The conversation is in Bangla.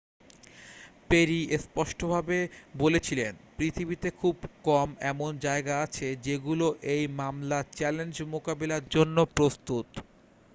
"পেরি স্পষ্টভাবে বলেছিলেন "পৃথিবীতে খুব কম এমন জায়গা আছে যেগুলো এই মামলার চ্যালেঞ্জ মোকাবিলার জন্য প্রস্তুত।""